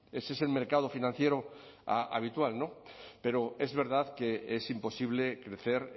ese es el mercado financiero habitual pero es verdad que es imposible crecer